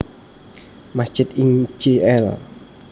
Masjid ing Jl